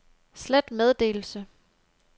slet meddelelse